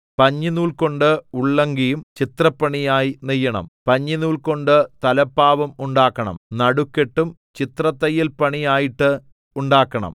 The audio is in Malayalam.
പഞ്ഞിനൂൽകൊണ്ട് ഉള്ളങ്കിയും ചിത്രപ്പണിയായി നെയ്യണം പഞ്ഞിനൂൽകൊണ്ട് തലപ്പാവും ഉണ്ടാക്കണം നടുക്കെട്ടും ചിത്രത്തയ്യൽപണിയായിട്ട് ഉണ്ടാക്കണം